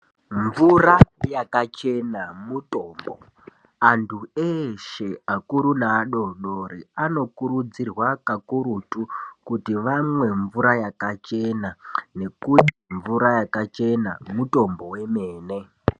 Mvura yakachena mutombo antu eshe akuru neadodori anokurudzirwa kakurutu kuti amwe mvura yakachena ngekuti mvura yakachena mutombo wemene .